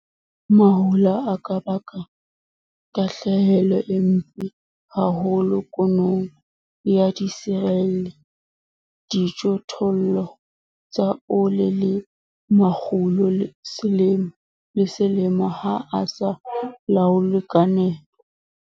MAHOLA A KA BAKA TAHLEHELO E MPE HAHOLO KUNONG YA DISERELE, DIJOTHOLLO TSA OLE LE MAKGULO SELEMO LE SELEMO HA A SA LAOLWE KA NEPO.